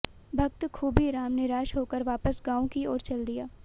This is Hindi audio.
भक्त खूबीराम निराश होकर वापस गांव की ओर चल दिया